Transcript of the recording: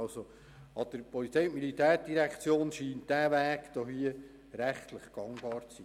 Aus Sicht der POM scheint dieser Weg rechtlich möglich zu sein.